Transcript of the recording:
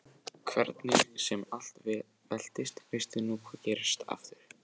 Hvernig sem allt veltist veistu nú hvað gerst hefur.